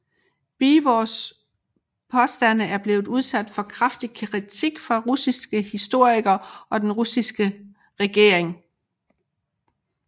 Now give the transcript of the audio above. Beevors påstande er blevet udsat for kraftig kritik fra russiske historikere og den russiske regering